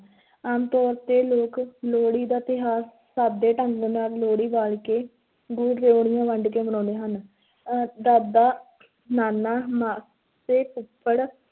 ਆਮ ਤੌਰ 'ਤੇ ਲੋਕ ਲੋਹੜੀ ਦਾ ਤਿਉਹਾਰ ਸਾਦੇ ਢੰਗ ਨਾਲ ਲੋਹੜੀ ਬਾਲ ਕੇ, ਗੁੜ ਰਿਓੜੀਆਂ ਵੰਡ ਕੇ ਮਨਾਉਂਦੇ ਹਨ ਅਹ ਦਾਦਾ ਨਾਨਾ, ਮਾਂ ਤੇ ਫੁੱਫੜ,